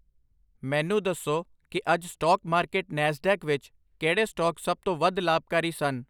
ਮੈਨੂੰ ਦੱਸੋ ਕਿ ਅੱਜ ਸਟਾਕ ਮਾਰਕੀਟ ਨੈਸਡੈਕ ਵਿੱਚ ਕਿਹੜੇ ਸਟਾਕ ਸਭ ਤੋਂ ਵੱਧ ਲਾਭਕਾਰੀ ਸਨ